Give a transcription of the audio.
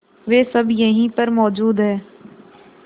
वे सब यहीं पर मौजूद है